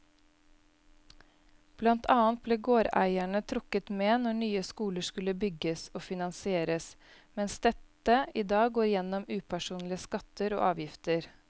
Blant annet ble gårdeierne trukket med når nye skoler skulle bygges og finansieres, mens dette i dag går gjennom upersonlige skatter og avgifter.